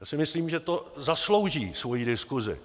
Já si myslím, že to zaslouží svoji diskusi.